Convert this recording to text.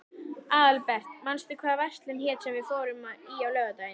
Aðalbert, manstu hvað verslunin hét sem við fórum í á laugardaginn?